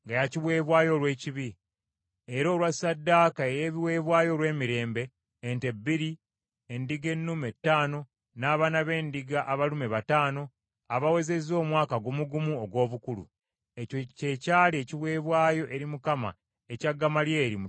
era olwa ssaddaaka ey’ebiweebwayo olw’emirembe: ente bbiri, endiga ennume ttaano, n’abaana b’endiga abalume bataano abawezezza omwaka gumu gumu ogw’obukulu. Ekyo kye kyali ekiweebwayo eri Mukama ekya Gamalyeri mutabani wa Pedazuuli.